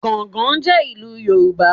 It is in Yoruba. Gángan jẹ́ ìlú Yorùbá